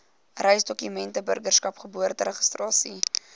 reisdokumente burgerskap geboorteregistrasie